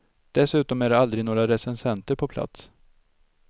Dessutom är det aldrig några recensenter på plats.